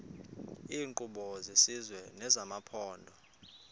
iinkqubo zesizwe nezamaphondo